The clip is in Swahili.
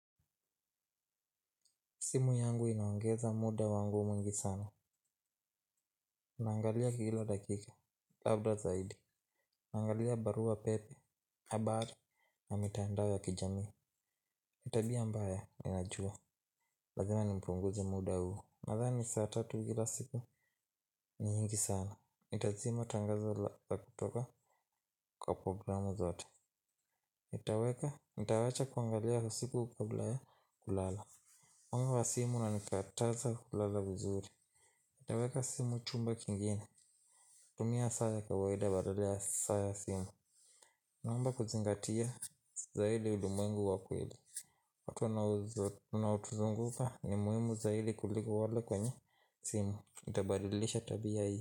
Simu yangu inaongeza muda wangu mwingi sana. Naangalia kila dakika. Labda zaidi. Naangalia barua pepe, habari na mitandao ya kijamii. Nitabia mbaya, ni najua. Lazima ni punguze muda huo. Nadhani saa tatu kila siku ni nyingi sana. Nitazima tangazo la kutoka kwa programu zote. Nitaweka, nitawacha kuangalia usiku ka bla ya kulala. Mwanga wa simu una nikataza kulala vizuri. Nitaweka simu chumba kingine. Tumia saaya kawaida badalaya saaya simu naomba kuzingatia zaidi uli mwengu wakweli watu wana otuzunguka ni muhimu zaidi kuliko wale kwenye simu nitabadilisha tabi a hii.